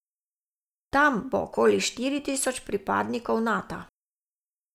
Tam bo okoli štiri tisoč pripadnikov Nata.